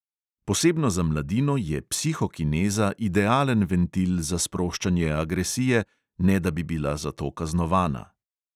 Posebno za mladino je psihokineza idealen ventil za sproščanje agresije, ne da bi bila za to kaznovana.